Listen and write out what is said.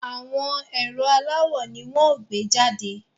Àwọn ẹ̀rọ aláwò ni wọ́n ó gbé jàde